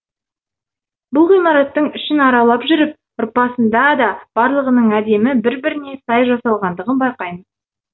бұл ғимараттың ішін аралап жүріп рпасында да барлығының әдемі бір біріне сай жасалғандығын байқаймыз